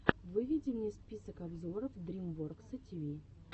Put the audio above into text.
выведи мне список обзоров дрим воркса ти ви